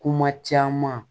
Kuma caman